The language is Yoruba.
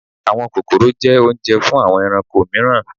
Àwọn kókórò jẹ́ oúnjẹ fún àwọn ẹranko mìíràn